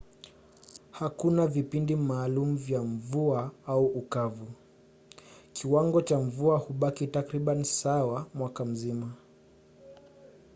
hakuna vipindi maalum vya mvua” au ukavu”: kiwango cha mvua hubaki takribani sawa mwaka mzima